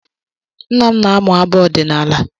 Nna m na-amụ abụ ọdịnaala.